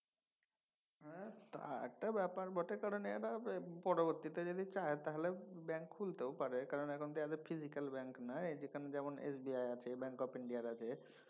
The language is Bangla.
হ্যাঁ তা একটা ব্যাপার বটে কারণ এর পরবর্তীতে যদি চায় তাহলে ব্যাঙ্ক খুলতেও পারে মানে এখন তো এদের physical ব্যাঙ্ক নাই। যেমন SBI আছে bank of India আছে।